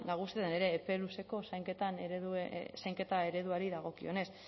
ere epe luzeko zainketen ereduari dagokionez